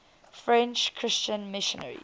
french christian missionaries